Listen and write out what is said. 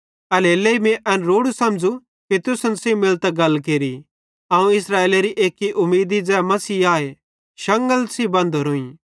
एल्हेरेलेइ मीं एन रोड़ू समझ़ू कि तुसन सेइं मिलतां गल केरि अवं इस्राएलेरी एक्की उमीदी ज़ै मसीह आए शांगलन सेइं बंधोरोइं